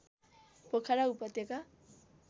पोखरा उपत्यका